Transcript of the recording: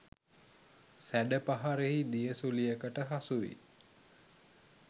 සැඩ පහරෙහි දිය සුළියකට හසු වී